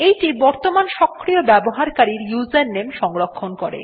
এইটি বর্তমানের সক্রিয় ব্যবহারকারীর ইউজারনেম সংরক্ষণ করে